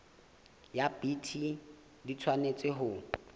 ya bt di tshwanetse ho